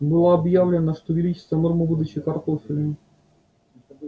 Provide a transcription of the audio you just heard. было объявлено что увеличится норма выдачи картофеля